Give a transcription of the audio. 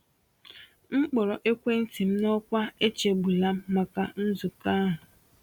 M kpọrọ ekwentị m n’ọkwa “echegbula m” maka nzukọ ahụ.